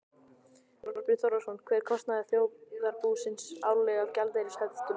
Þorbjörn Þórðarson: Hver er kostnaður þjóðarbúsins árlega af gjaldeyrishöftum?